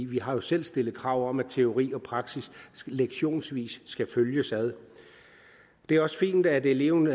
vi har selv stillet krav om at teori og praksis lektionsvis skal følges ad det er også fint at eleven